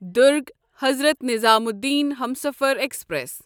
Durg Hazrat Nizamuddin Humsafar express